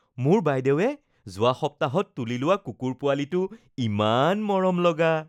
মোৰ বাইদেউৱে যোৱা সপ্তাহত তুলি লোৱা কুকুৰ পোৱালিটো ইমান মৰমলগা